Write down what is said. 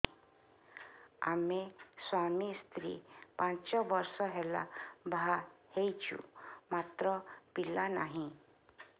ଆମେ ସ୍ୱାମୀ ସ୍ତ୍ରୀ ପାଞ୍ଚ ବର୍ଷ ହେଲା ବାହା ହେଇଛୁ ମାତ୍ର ପିଲା ନାହିଁ